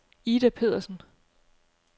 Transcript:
Ida Pedersen